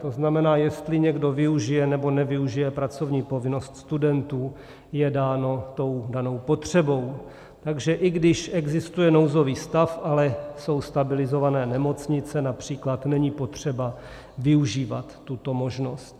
To znamená, jestli někdo využije nebo nevyužije pracovní povinnost studentů, je dáno tou danou potřebou, takže i když existuje nouzový stav, ale jsou stabilizované nemocnice, například, není potřeba využívat tuto možnost.